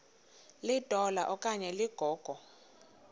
litola okanye ligogo